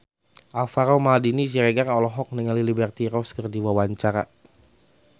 Alvaro Maldini Siregar olohok ningali Liberty Ross keur diwawancara